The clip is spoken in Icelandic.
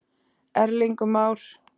Erling Már.